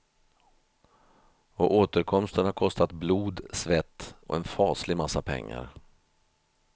Och återkomsten har kostat blod, svett och en faslig massa pengar.